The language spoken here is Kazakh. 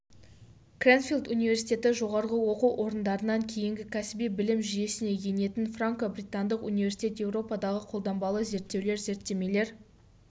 крэнфилд университеті жоғарғы оқу орындарынан кейінгі кәсіби білім жүйесіне енетін франко-британдық университет еуропадағы қолданбалы зерттеулер зерттемелер